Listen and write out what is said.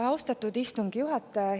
Austatud istungi juhataja!